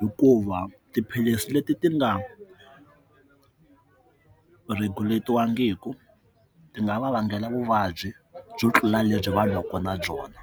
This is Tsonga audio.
hikuva tiphilisi leti ti nga regulate-wangiku ti nga va vangela vuvabyi byo tlula lebyi vanhu va ka na byona.